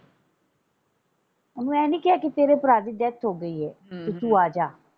ਓਹਨੂੰ ਇਹ ਨਹੀਂ ਕਿਹਾ ਕਿ ਤੇਰੇ ਭਰਾ ਦੀ ਡੈਥ ਹੋ ਗਈ ਏ ਹਮ ਤੇ ਤੂੰ ਆਜਾ।